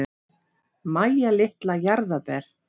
Mæja litla jarðarber.